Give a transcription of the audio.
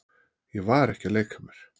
Ég var ekki að leika mér.